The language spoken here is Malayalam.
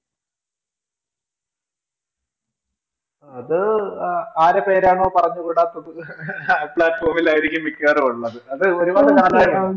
അത് ആരുടെ പേരാണോ പറഞ്ഞുകൂടാത്തത് ആ platform ൽ ആയിരിക്കും അഹ് മിക്കവാറും ഉള്ളത് അത് ഒരുപാട് കാലമായതാ